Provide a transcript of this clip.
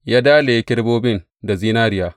Ya dalaye kerubobin da zinariya.